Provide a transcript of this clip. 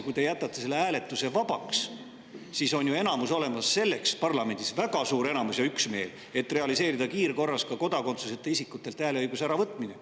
Kui te jätate selle vabaks, siis on parlamendis olemas väga suur enamus ja üksmeel, et realiseerida kiirkorras ka kodakondsuseta isikutelt hääleõiguse äravõtmine.